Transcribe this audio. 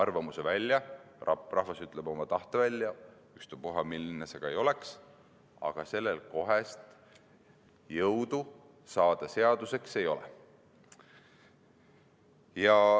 Rahvas ütleb oma arvamuse, oma tahte välja – ükstapuha milline see ka ei ole –, aga sellel kohest jõudu seaduseks saada ei ole.